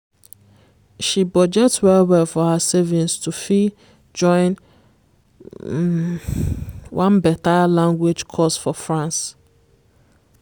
she budget well well for her savings to fit join um one better language course for france.